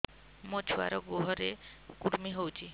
ମୋ ଛୁଆର୍ ଗୁହରେ କୁର୍ମି ହଉଚି